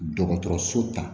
Dɔgɔtɔrɔso ta